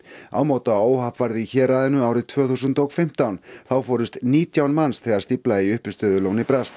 ámóta óhapp varð í héraðinu árið tvö þúsund og fimmtán þá fórust nítján manns þegar stífla í uppistöðulóni brast